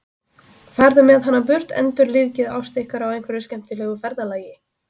Farðu með hana burt, endurlífgið ást ykkar á einhverju skemmtilegu ferðalagi!